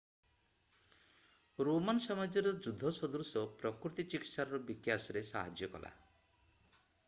Roman ସାମ୍ରାଜ୍ୟର ଯୁଦ୍ଧ ସଦୃଶ ପ୍ରକୃତି ଚିକିତ୍ସାର ବିକାଶରେ ସାହାଯ୍ୟ କଲା